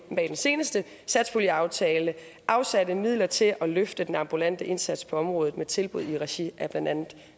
med den seneste satspuljeaftale afsatte midler til at løfte den ambulante indsats på området med tilbud i regi af blandt andet